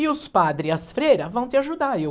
E os padres e as freiras vão te ajudar. E eu